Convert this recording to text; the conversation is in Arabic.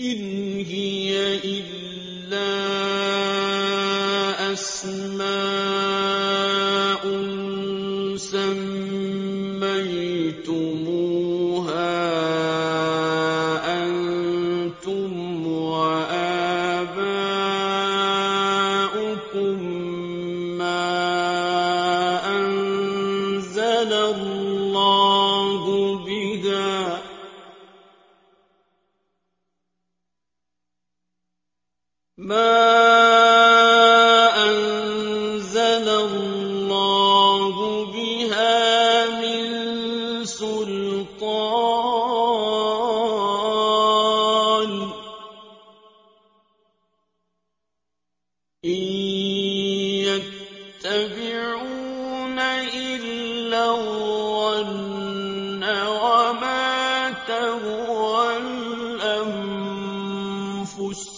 إِنْ هِيَ إِلَّا أَسْمَاءٌ سَمَّيْتُمُوهَا أَنتُمْ وَآبَاؤُكُم مَّا أَنزَلَ اللَّهُ بِهَا مِن سُلْطَانٍ ۚ إِن يَتَّبِعُونَ إِلَّا الظَّنَّ وَمَا تَهْوَى الْأَنفُسُ ۖ